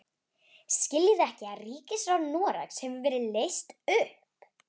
Skiljið þið ekki að ríkisráð Noregs hefur verið leyst upp!